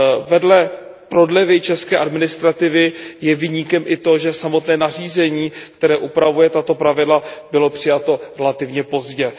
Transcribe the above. Vedle prodlevy české administrativy je viníkem i to, že samotné nařízení, které upravuje tato pravidla, bylo přijato relativně pozdě.